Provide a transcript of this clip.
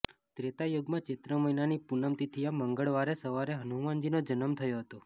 ત્રેતાયુગમાં ચૈત્ર મહિનાની પૂનમ તિથિએ મંગળવારે સવારે હનુમાનજીનો જન્મ થયો હતો